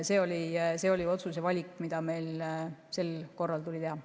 See oli otsus ja valik, mis meil sel korral tuli teha.